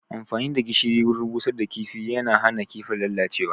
Amfani da gishiri wurin busar da kifi yana hana kifin lalacewa